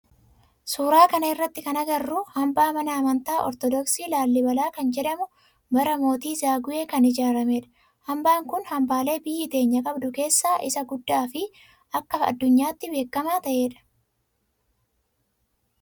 Suuraa kana irratti kana agarru hambaa mana amantaa ortodooksii laalibalaa kan jedhamu bara mootii zaguwee kan ijaarameedha. Hambaa kun hambaalee biyyi teenya qabdu keessaa isa guddaa fi akka addunyaatti bekkamaa ta'edha.